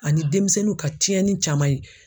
Ani denmisɛnninw ka tiɲɛni caman ye.